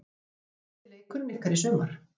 Er þetta besti leikurinn ykkar í sumar?